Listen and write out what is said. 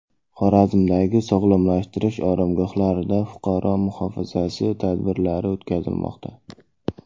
Xorazmdagi sog‘lomlashtirish oromgohlarida fuqaro muhofazasi tadbirlari o‘tkazilmoqda.